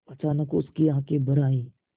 अचानक उसकी आँखें भर आईं